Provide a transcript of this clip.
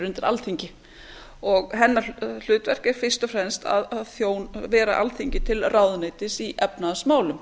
undir alþingi og hennar hlutverk er fryst og fremst að vera alþingi til ráðuneytis í efnahagsmálum